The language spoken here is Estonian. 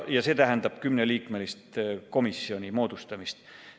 See tähendab kümneliikmelise komisjoni moodustamist.